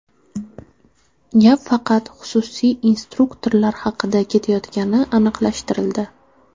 Gap faqat xususiy instruktorlar haqida ketayotgani aniqlashtirildi.